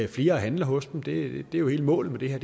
flere og handler hos dem det er jo hele målet med det her